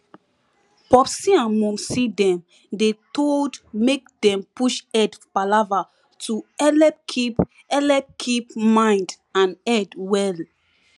popsi and momsi dem dey told make dem push head palava to helep keep helep keep mind and head well